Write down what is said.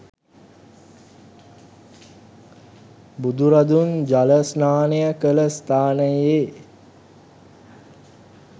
බුදුරදුන් ජල ස්නානය කළ ස්ථානයේ